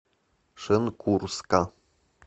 шенкурска